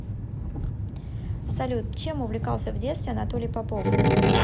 салют чем увлекался в детстве анатолий попов